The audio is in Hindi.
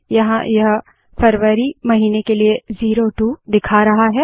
यहाँ यह फरवरी महीने के लिए 02 दिखा रहा है